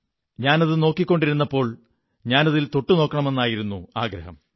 ഞാനതു നോക്കിക്കൊണ്ടിരുന്നപ്പോൾ ഞാനതിൽ തൊട്ടു നോക്കണമെന്നായിരുന്നു ആഗ്രഹം